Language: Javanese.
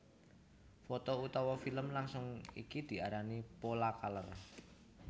Foto utawa filem langsung dadi iki diarani Polacolor